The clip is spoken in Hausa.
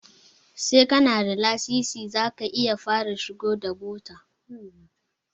Sai kana da lasisi zaka iya fara shigo da bota